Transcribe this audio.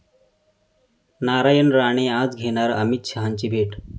नारायण राणे आज घेणार अमित शहांची भेट